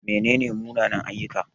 Mene ne munanan-ayyuka?